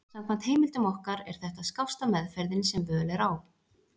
Samkvæmt heimildum okkar er þetta skásta meðferðin sem völ er á.